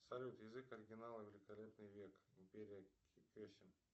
салют язык оригинала великолепный век империя кесем